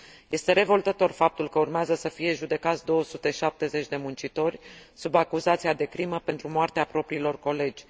Este revoltător faptul că urmează să fie judecați 270 de muncitori, sub acuzația de crimă, pentru moartea propriilor colegi.